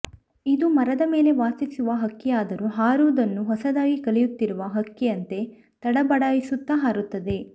ಇದು ಮರದ ಮೇಲೆ ವಾಸಿಸುವ ಹಕ್ಕಿಯಾದರೂ ಹಾರುವುದನ್ನು ಹೊಸದಾಗಿ ಕಲಿಯುತ್ತಿರುವ ಹಕ್ಕಿಯಂತೆ ತಡಬಡಾಯಿಸುತ್ತ ಹಾರುತ್ತದೆ